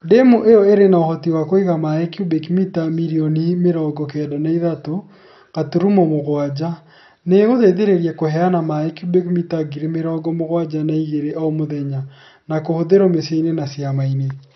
Demu ĩyo ĩrĩ na ũhoti wa kũiga maaĩ cubic mita mirioni mĩrongo kenda na ĩthatũ gaturumo mũgwanja. Nĩ ĩgũteithĩrĩria kũheana maaĩ cubic mita ngiri mĩirongo mũgwanja na ĩgere o mũthenya. Ma kũhũthĩrwo mĩciĩ-inĩ na ciama-inĩ.